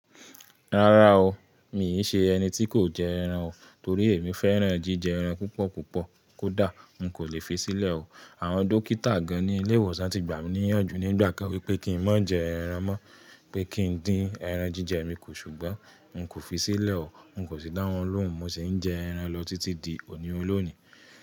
Rárá o, mii ṣe ẹni tí kò jẹ ẹran o. Torí èmi fẹ́ràn jíjẹ ẹran púpọ̀ púpọ̀ kódà n kò lè fi sílẹ̀ o. Àwọn dókítà gan ní ilé ìwòsàn ti gbà mí níyànjú nígbà kan wípé kín n má jẹ ẹran mọ́, pé kín dín ẹran jíjẹ mi kù, ṣùgbọ́n n kò fi sílẹ̀ o. N kò sì dá wọn lóhùn, mo sì ń jẹ ẹran lọ títí di òní ọlọ́ni.